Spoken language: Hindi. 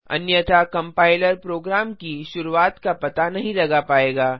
अन्यथा कम्पाइलर प्रोग्राम की शुरुआत का पता नहीं लगा पाएगा